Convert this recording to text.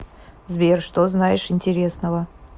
сбер что знаешь интересного